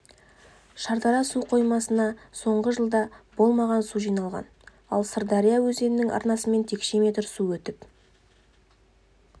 шардара су қоймасына соңғы жылда болмаған су жиналған ал сырдария өзенінің арнасымен текше метр су өтіп